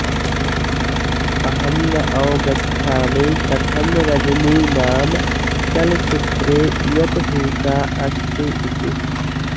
अहं न अवगच्छामि कथं रजनी नाम चलचित्रे इयत् हिंसा अस्ति इति